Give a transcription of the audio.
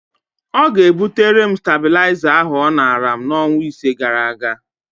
Ọ ga-ebutere m stabịlaịza ahụ ọ nara m n'ọnwa ise gara aga.